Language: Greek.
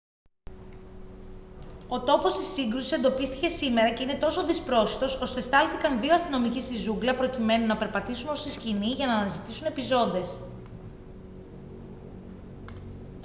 ο τόπος της σύγκρουσης εντοπίστηκε σήμερα και είναι τόσο δυσπρόσιτος ώστε στάλθηκαν δύο αστυνομικοί στη ζούγκλα προκειμένου να περπατήσουν ως τη σκηνή για να αναζητήσουν επιζώντες